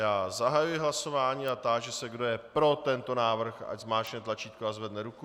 Já zahajuji hlasování a táži se, kdo je pro tento návrh, ať zmáčkne tlačítko a zvedne ruku.